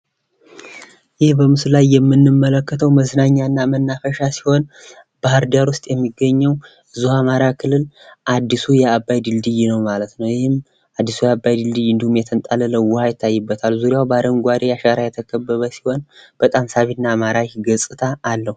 ይህ በምስሉ ላይ የምንመለከተው መዝናኛ እና መናፈሻ ሲሆን ባህር ዳር ውስጥ የሚገኘው እዚሁ አማራ ክልል አዲሱ የአባይ ድልድይ ነው ማለት ነው። ይህም አዲሱ የአባይ ድልድይ እንዲሁም የጣለለው ውሀ ይታይበታል። ዙሪያው በአረጓዴ አሻራ የተከበበ ሲሆን በጣም ሳቢ እና ማራኪ ገፅታ አለው።